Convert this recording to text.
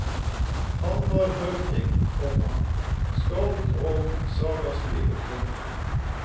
Han var høvding, komma skald og sagaskriver. punktum